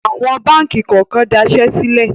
Awọ̀n báńkì kọ̀ọ̀kan dasẹ́ sílẹ̀.